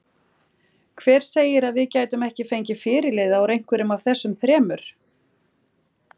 Hver segir að við gætum ekki fengið fyrirliða úr einhverjum af þessum þremur?